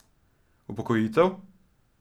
Upokojitev?